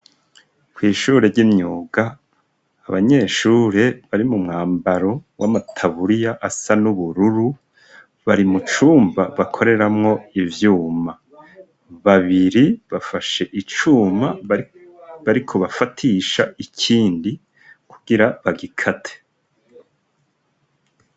Kw'ishure ry'imyuga abanyeshure bari mu mwambaro w'amataburiya asa n'ubururu bari mu cumba bakoreramwo ivyuma babiri bafashe icuma bari ko bafatisha ikindi kugira bagikate.